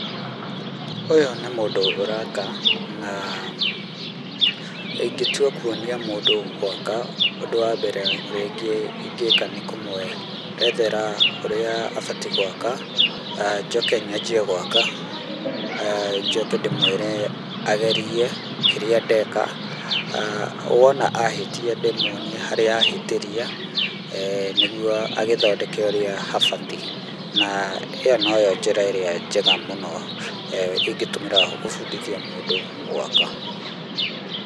Ũyũ nĩ mũndũ ũraka na ingĩtua kwonia mũndũ gwaka ũndũ wa mbere ũrĩa ingĩka nĩkũmwerethera ũrĩa abatiĩ gwaka. Njoke nyanjie gwaka, njoke ndĩmwire agerie kĩrĩa ndeka. Wona ahĩtia, ndĩmwonie harĩa ahĩtĩria nĩguo agĩthondeke ũrĩa habatiĩ. Na ĩyo noyo njĩra ĩrĩa njega mũno ingĩtũmĩra gũbundithia mũndũ gwaka.